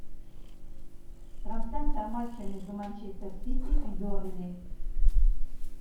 трансляция матча между манчестер сити и бернли